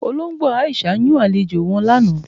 Ọlọgbo Aisha yún alẹ̀jọ wọn lána.